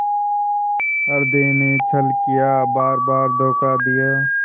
हृदय ने छल किया बारबार धोखा दिया